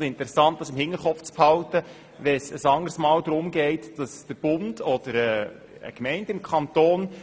Wir sollten das im Hinterkopf behalten, wenn ein anderes Mal der Bund oder eine Gemeinde